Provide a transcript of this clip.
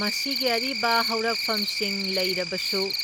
ꯃꯁꯤꯒꯤ ꯑꯔꯤꯕ ꯍꯧꯔꯛꯐꯝꯁꯤꯡ ꯂꯩꯔꯕꯁꯨ,